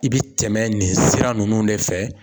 I bi tɛmɛ nin sira ninnu ne fɛ